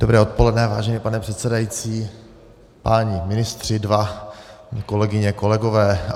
Dobré odpoledne, vážený pane předsedající, páni ministři dva, kolegyně, kolegové.